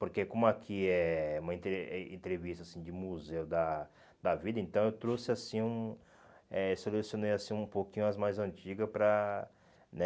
Porque como aqui é uma entre eh entrevista assim de museu da da vida, então eu trouxe, assim, hum eh selecionei assim um pouquinho as mais antigas para, né?